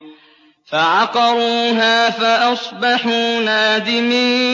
فَعَقَرُوهَا فَأَصْبَحُوا نَادِمِينَ